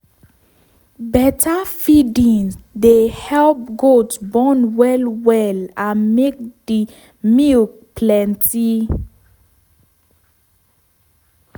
better feeding dey help goat born well well and make di milk plenty.